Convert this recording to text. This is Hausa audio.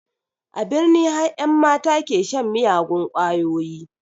A birni har ƴan mata ke shan miyagun ƙwayoyi